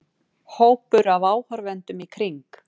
Hópur af áhorfendum í kring.